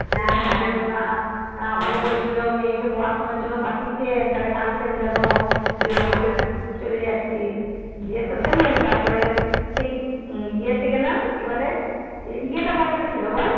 কেঁদো না কেঁদো না আমাকে বলছিলো মেয়েকে পড়াশোনার জন্যে পঠিয়েছিন তাহলে কানছেন কেন এখনো সে তো চলে যাচ্ছে যে গিয়ে তো তো তারপরে সেই যে তে গেলাম কি বলে